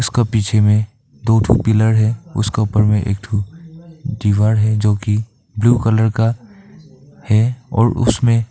उसका पीछे में दो ठो पिलर है उसका ऊपर में एक ठो दीवार है जो की ब्लू कलर का है और उसमें--